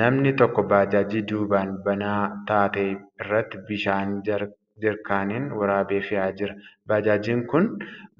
Namni tokko baajaajii duubaan banaa taate irratti bishaan jeerkaaniin waraabee fe'aa jira. Baajaajiin kun